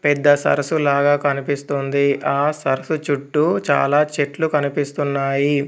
పెద్ద సరస్సు లాగా కనిపిస్తుంది. ఆ సరస్సు చుట్టూ చాలా చెట్లు కనిపిస్తున్నాయి.